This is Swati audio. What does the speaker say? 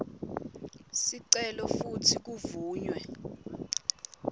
sicelo futsi kuvunywe